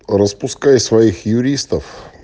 распускай своих юристов